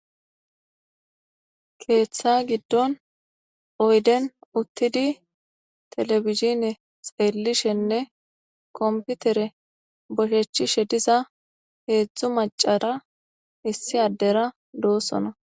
Ketha gidon oyden utid television xelishene kompitere bochechishe diza hezdzdu macara issi addera dosona.